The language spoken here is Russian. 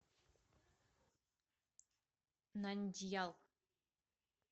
нандьял